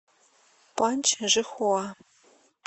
паньчжихуа